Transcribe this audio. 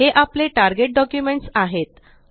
हे आपले target documents आहेत